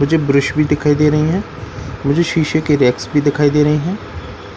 मुझे ब्रश भी दिखाई दे रही है मुझे शीशे की रैक्स भी दिखाई दे रही है